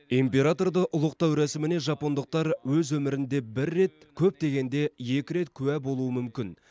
императорды ұлықтау рәсіміне жапондықтар өз өмірінде бір рет көп дегенде екі рет куә болуы мүмкін